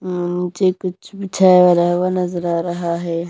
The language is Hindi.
नीचे कुछ बीछा हुआ नजर आ रहा है।